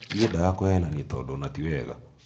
ndiendaga kũhenanĩa tondũ ona tiwega